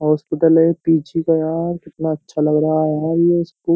Hospital है। ये पीछे का यार कितना अच्छा लग रहा है --